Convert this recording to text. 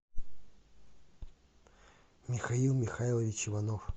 михаил михайлович иванов